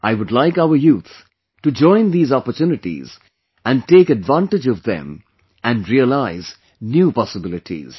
I would like our youth to join these opportunities and take advantage of them and realize new possibilities